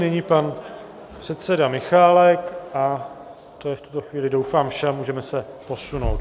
Nyní pan předseda Michálek, to je v tuto chvíli doufám vše a můžeme se posunout.